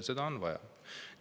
Seda on vaja.